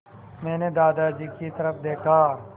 मैंने दादाजी की तरफ़ देखा